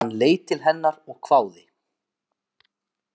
Hann leit til hennar og hváði.